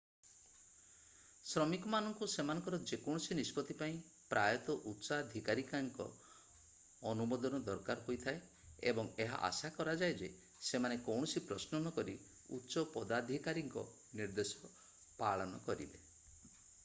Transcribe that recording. ଶ୍ରମିକମାନଙ୍କୁ ସେମାନଙ୍କର ଯେକୌଣସି ନିଷ୍ପତ୍ତି ପାଇଁ ପ୍ରାୟତଃ ଉଚ୍ଚାଧିକାରୀଙ୍କ ଅନୁମୋଦନ ଦରକାର ହୋଇଥାଏ ଏବଂ ଏହା ଆଶା କରାଯାଏ ଯେ ସେମାନେ କୌଣସି ପ୍ରଶ୍ନ ନକରି ଉଚ୍ଚ ପଦାଧିକାରୀଙ୍କ ନିର୍ଦ୍ଦେଶ ପାଳନ କରିବେ